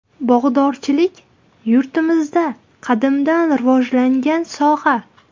Bog‘dorchilik – yurtimizda qadimdan rivojlangan soha.